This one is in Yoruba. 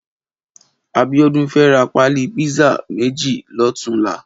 Abiodun fè rà pàlí pizza mèji lòtúnlà